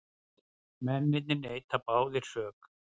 Mennirnir neita báðir sök